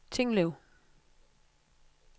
Tinglev